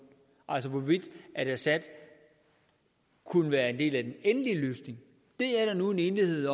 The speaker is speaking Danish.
altså hvorvidt assad kunne være en del af den endelige løsning det er der nu en enighed